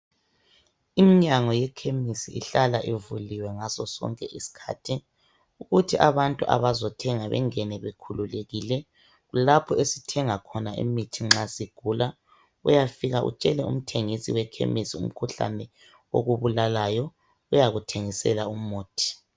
Imnyango yemaphamacy ihlala ivuliwe ngaso sonke isikhathi ukuthi abantu abazothenga bengene bekhululekile lapho esithenga khona imithi nxa sigula uyafika utshele umthengisi we Phamacy umkhuhlane okubulalayo uyakuthegisela umuthi